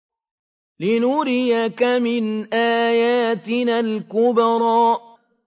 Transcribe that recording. لِنُرِيَكَ مِنْ آيَاتِنَا الْكُبْرَى